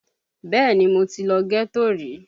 Bẹ́ẹ̀ni mo ti lọ ghetto rí